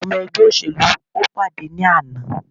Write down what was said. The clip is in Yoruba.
Àwọn ọmọ ẹgbẹ́ òṣèlú o pàdé ní àná.